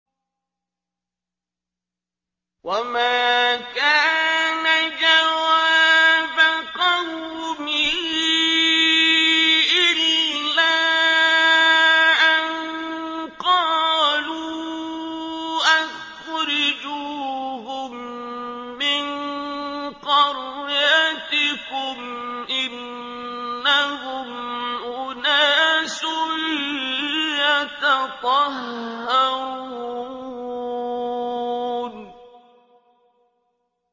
وَمَا كَانَ جَوَابَ قَوْمِهِ إِلَّا أَن قَالُوا أَخْرِجُوهُم مِّن قَرْيَتِكُمْ ۖ إِنَّهُمْ أُنَاسٌ يَتَطَهَّرُونَ